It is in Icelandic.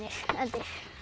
endir